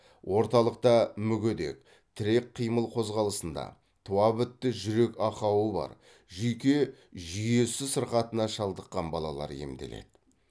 орталықта мүгедек тірек қимыл қозғалысында туабітті жүрек ақауы бар жүйке жүйесі сырқатына шалдыққан балалар емделеді